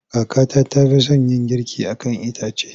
Kakata ta fi son yin girki a kan itace.